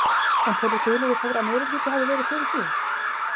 En telur Guðlaugur Þór að meirihluti hafi verið fyrir því?